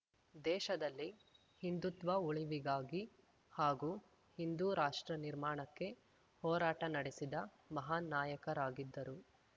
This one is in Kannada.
ದೇಶದಲ್ಲಿ ಹಿಂದುತ್ವ ಉಳಿವಿಗಾಗಿ ಹಾಗೂ ಹಿಂದೂ ರಾಷ್ಟ್ರ ನಿರ್ಮಾಣಕ್ಕೆ ಹೋರಾಟ ನಡೆಸಿದ ಮಹಾನ್‌ ನಾಯಕರಾಗಿದ್ದರು